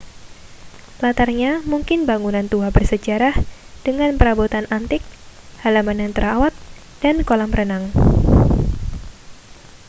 latarnya mungkin bangunan tua bersejarah dengan perabotan antik halaman yang terawat dan kolam renang